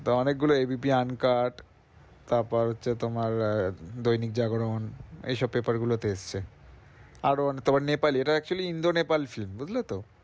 তো অনেক গুলো ABP uncart তারপর হচ্ছে তোমার দৈনিক জাগরণ এইসব paper গুলোতে এসছে। আরো অনেক তারপর Nepale এ এটা actually Indo-Nepal film বুঝলে তো?